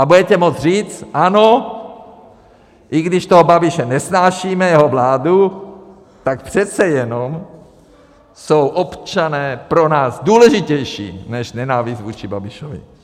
A budete moct říct ano, i když toho Babiše nesnášíme, jeho vládu, tak přece jenom jsou občané pro nás důležitější než nenávist vůči Babišovi.